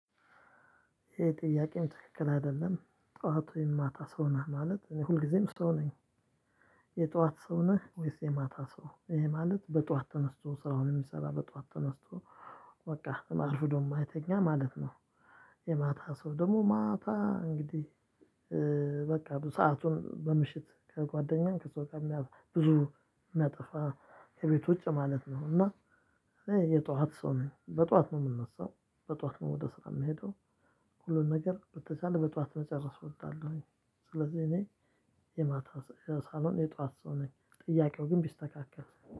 ይሄ ጥያቄም ትክክል አይደለም ጠዋት ወይም ማታ ሰው ነህ ማለት ሁልጊዜም ሰው ነኝ። የ ጠዋት ሰው ነህ ወይስ የማታ ሰው? ይሄ ማለት በጧት ተነስቶ ስራውን የሚሰራ በጧት ተነስቶ በቃ አርፍዶ የማይተኛ ማለት ነው። የማታ ሰው ደግሞ ማታ እንግዲህ በቃ ሰአቱን በምሽት ከጓደኛም ከሰውተኛም ብዙ የሚያጠፋ ከቤት ውጪ ማለት ነው። እና የጧት ሰው ነግን በጧት ነው የምንነሳው በጧት ነው ወደ ስራ የምሄደው። ሁሉን ነገር በተቻለ በጧት መጨረስ እወዳለሁኝ። ስለዚህ እኔ የማታ ሳልሆን የጧት ሰው ነኝ። ጥያቄው ግን ቢስተካከል